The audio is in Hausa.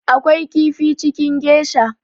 Akwai kifi cikin geisha